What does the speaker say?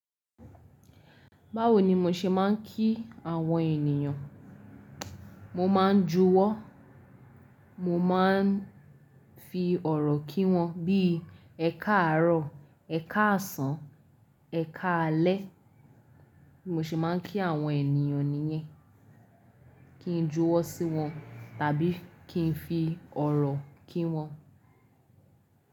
Báwo ni mo ṣe máa ń kí àwọn ènìyàn? Mo máa ń juwọ́, mo maá ń fi ọ̀rọ̀ kí wọn bíi "ẹ káàárọ̀", "ẹ káàsán", "ẹ káalẹ́". Bí mo ṣe máa ń kí àwọn ènìyàn nìyẹn. Kí n juwọ́ sí wọn tàbí kí n fi ọ̀rọ̀ kí wọn.